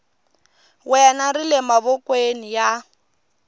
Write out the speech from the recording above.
wena ri le mavokweni ya